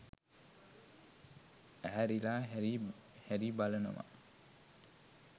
ඇහැරිලා හැරි හැරීබලනවා